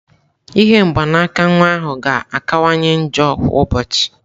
Ihe mgbanaka nwa ahụ ga-akawanye njọ kwa ụbọchị.